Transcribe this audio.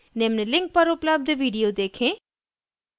निम्न link पर उपलब्ध video देखें